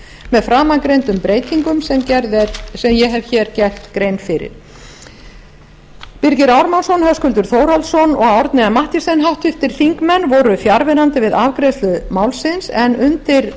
með framangreindum breytingum sem ég hef hér gert grein fyrir birgir ármannsson höskuldur þórhallsson og árni m mathiesen háttvirtir þingmenn voru fjarverandi við afgreiðslu málsins undir